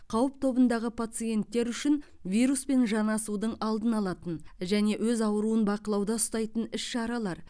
қауіп тобындағы пациенттер үшін вируспен жанасудың алдын алатын және өз ауруын бақылауда ұстайтын іс шаралар